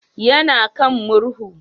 Ya na kan murhu